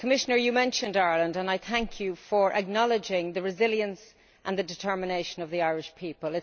Commissioner, you mentioned Ireland and I thank you for acknowledging the resilience and the determination of the Irish people.